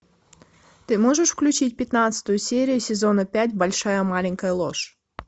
ты можешь включить пятнадцатую серию сезона пять большая маленькая ложь